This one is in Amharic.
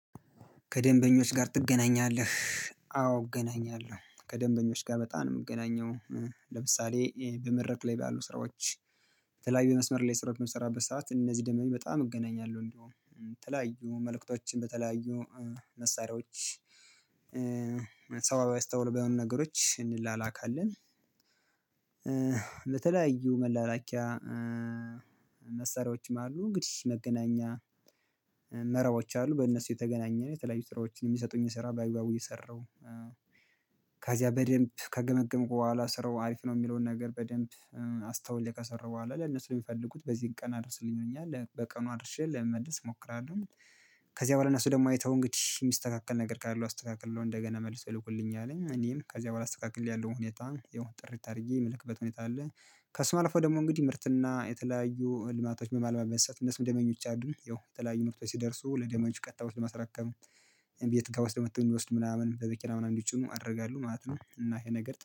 ከደንበኞች ጋር ትገናኛለህ? አዎ እገናኛለሁ ከደንበኞች ጋር በጣም ነው የምገናኘው። ለምሳሌ በመድረክ ላይ ባሉ ስራዎች በተለያዩ መስመር ላይ ስራ በምሰራበት ሰዓት እነዚህ ደንበኞች በጣም እገናኛለሁ እንደውም የተለያዩ መልእክቶችን በተለያዩ መሳሪያዎች ሰው አስተማሪ በሆኑ ነገሮች እንላላካለን። በተለያዩ መላላኪያ መሳሪያዎችም አሉ እንግዲህ መገናኛ መረቦች አሉ በእነሱ እየተገናኘን የተለያዩ ስራዎችን የሚሰጡኝን ስራ ባግባቡ እየሰራሁ። ከዚያ በደንብ ከገመገምኩ በኋላ ስራው አሪፍ ነው የሚለውን ነገር በደንብ አስተውዬ ከሰራሁ በኋላ ለነሱ የሚፈልጉት በዚህን ቀን አድርስልኝ ይሉኛል በቀኑ አድርሼ ለመመለስ እሞክራለሁ። ከዚያ በኋላ እነሱ ደግሞ አይተው እንግዲህ የሚስተካከል ነገር ካለው አስተካክል ብለው እንደገና መልሰው ይልኩልኛል እኔም ከዚያ በኋላ አስተላክሌ ያለውን ሁኔታ ያው ጥርት አድርጌ የምልክበት ሁኔታ አለ። ከስሙ አልፎ ደግሞ እንግዲህ ምርትና የተለያዩ ልማቶች በማልማት የሚያሰሩኝ እነሱም ደንበኞች አሉኝ ያው የተለያዩ ምርቶች ሲደርሱ ለደንበኞች ቀጥታ ወስዶ በማስረከብ እቤት እቃ ወስደው መተው እንዲወስዱ ምናምን በመኪና ምናምን እንዲጭኑ አደርጋለሁ ማለት ነው። እና ይሄ ነገር